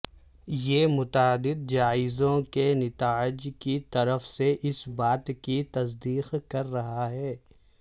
یہ متعدد جائزوں کے نتائج کی طرف سے اس بات کی تصدیق کر رہا ہے